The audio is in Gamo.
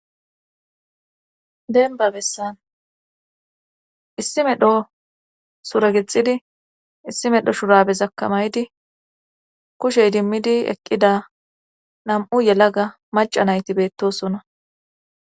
Denba bessan issi medho suragexidi issi medho shurabe zakamaydi kushey dimmidi eqqida nam7u yela ga maca nayti beettosona